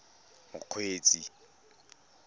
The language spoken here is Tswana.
mokgweetsi